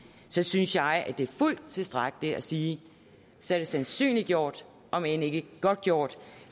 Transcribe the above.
så synes jeg det er fuldt tilstrækkeligt at sige at så er det sandsynliggjort om ikke godtgjort